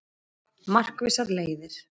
Markvissar leiðir